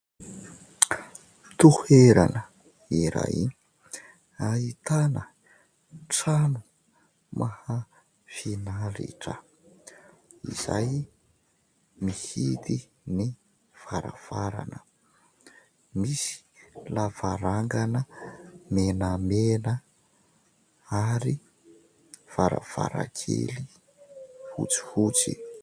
Toerana iray ahitana trano mahafinaritra izay mihidy ny varavarana. Misy lavarangana menamena ary varavarankely fotsifotsy.